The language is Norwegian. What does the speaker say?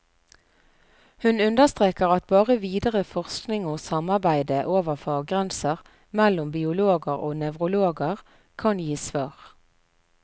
Hun understreker at bare videre forskning og samarbeide over faggrenser, mellom biologer og nevrologer, kan gi svar.